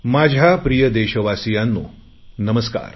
माझ्या प्रिय देशवासियांनो नमस्का